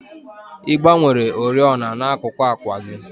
Ị gbanwere oriọna n'akuku àkwà gị?